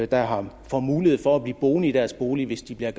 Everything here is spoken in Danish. der får mulighed for at blive boende i deres bolig hvis de bliver